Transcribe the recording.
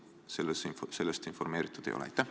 Või sind sellest informeeritud ei ole?